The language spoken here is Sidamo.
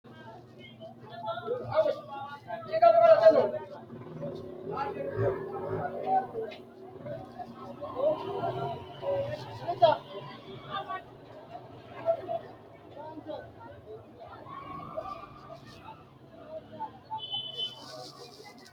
Manchu beetti bushshu hoshooshama gargadhanno doogga giddo mittu mullicho baattora haqqa kayisatenniiti Manchu beetti bushshu hoshooshama gargadhanno doogga giddo mittu.